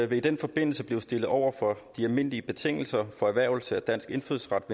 vil i den forbindelse blive stillet over for de almindelige betingelser for erhvervelse af dansk indfødsret